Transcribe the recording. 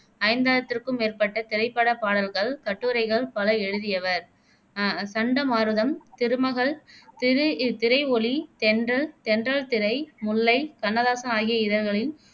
ஐந்தாயிரத்திற்கும் மேற்பட்ட திரைப்படப் பாடல்கள், கட்டுரைகள் பல எழுதியவர் அஹ் சண்டமாருதம், திருமகள், திரு திரை ஒலி, தென்றல், தென்றல் திரை, முல்லை, கண்ணதாசன் ஆகிய இதழ்களின்